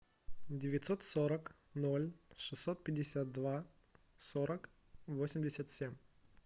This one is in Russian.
девятьсот сорок ноль шестьсот пятьдесят два сорок восемьдесят семь